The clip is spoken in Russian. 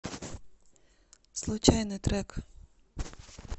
случайный трек